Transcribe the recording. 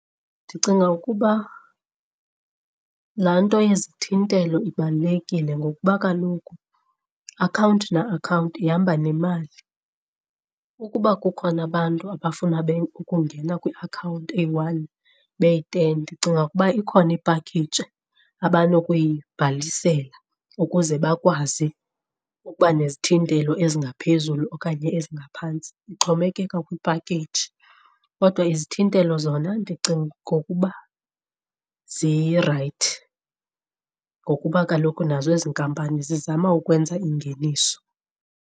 Ndicinga ukuba laa nto yezithintelo ibalulekile ngokuba kaloku akhawunti na-akhawunti ihamba nemali. Ukuba kukhona abantu abafuna ukungena kwiakhawunti eyi-one beyi-ten, ndicinga ukuba ikhona ipakheyiji abanokuyibhalisela ukuze bakwazi ukuba nezithintelo ezingaphezulu okanye ezingaphantsi, ixhomekeka kwipakeyiji. Kodwa izithintelo zona ndicinga ngokuba zirayithi ngokuba kaloku nazo ezi nkampani zizama ukwenza ingeniso.